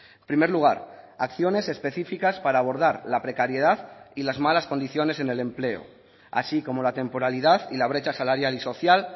en primer lugar acciones específicas para abordar la precariedad y las malas condiciones en el empleo así como la temporalidad y la brecha salarial y social